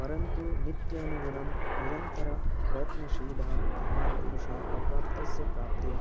परन्तु नीत्यनुगुणं निरन्तरप्रयत्नशीलः धीमान् पुरुषः अप्राप्तस्य प्राप्त्यै